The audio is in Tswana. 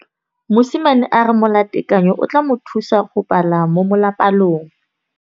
Mosimane a re molatekanyô o tla mo thusa go bala mo molapalong.